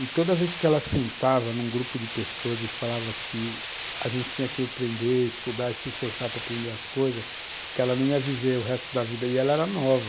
E toda vez que ela sentava num grupo de pessoas e falava que a gente tinha que aprender, estudar e se esforçar para aprender as coisas, que ela não ia viver o resto da vida, e ela era nova.